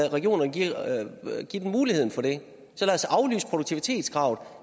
regionerne mulighed for det så lad os aflyse produktivitetskravet og